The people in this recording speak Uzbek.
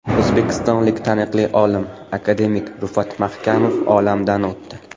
O‘zbekistonlik taniqli olim, akademik Rufat Mahkamov olamdan o‘tdi.